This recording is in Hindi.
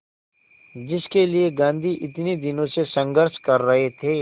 जिसके लिए गांधी इतने दिनों से संघर्ष कर रहे थे